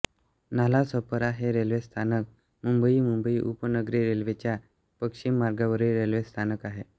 Nalasopara railway स्थानक हे मुंबई मुंबई उपनगरी रेल्वेच्या पश्चिम मार्गावरील रेल्वे स्थानक आहे